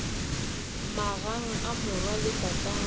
magang a morwa le tatagwe